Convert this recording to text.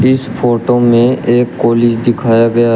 इस फोटो में एक कॉलेज दिखाया गया --